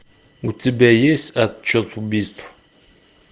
у тебя есть отчет убийств